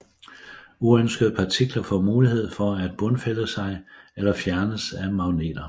Uønskede partikler får mulighed for at bundfælde sig eller fjernes af magneter